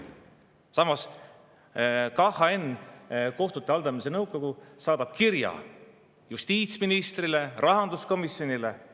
Samas, KHN, kohtute haldamise nõukogu, on saatnud kirja justiitsministrile ja rahanduskomisjonile.